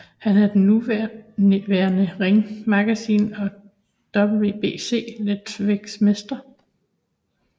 Han er den nuværende Ring Magazine og WBC letsværvægtmester